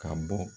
Ka bɔ